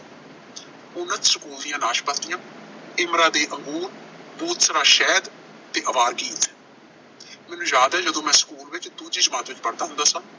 School ਦੀਆਂ ਨਾਸ਼ਪਾਤੀਆਂ, ਇਮਰਾ ਦੇ ਅੰਗੂਰ, ਸ਼ਹਿਦ ਤੇ ਆਵਾਰਗੀਤ ਮੈਨੂੰ ਯਾਦ ਹੈ ਜਦੋਂ ਮੈਂ ਸਕੂਲ ਵਿੱਚ ਦੂਜੀ ਜਮਾਤ ਵਿੱਚ ਪੜ੍ਹਦਾ ਹੁੰਦਾ ਸਾਂ।